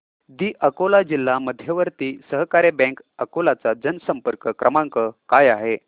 दि अकोला जिल्हा मध्यवर्ती सहकारी बँक अकोला चा जनसंपर्क क्रमांक काय आहे